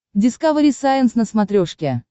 дискавери сайенс на смотрешке